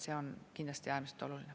See on kindlasti äärmiselt oluline.